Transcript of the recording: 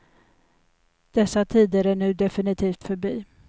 Dessa tider är nu definitivt förbi.